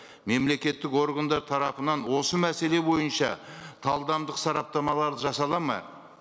мемлекеттік органдар тарапынан осы мәселе бойынша талдамдық сараптамалар жасалады ма